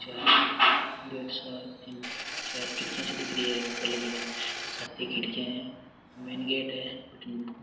चार गेट चार खिड़किया सी दिख रही है ऊपर सात खिड़किया है मैनगेट हैं।